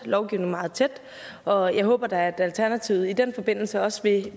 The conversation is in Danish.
lovgivningen meget tæt og jeg håber da at alternativet i den forbindelse også vil